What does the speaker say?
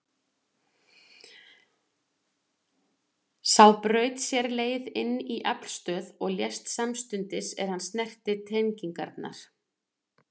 Sá braut sér leið inn í aflstöð og lést samstundis er hann snerti tengingarnar.